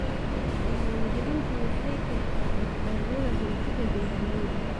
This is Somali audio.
Diiwaangelintu waxay keentaa badbaadada hantida beeralayda.